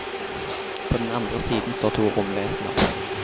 På den andre siden står to romvesener.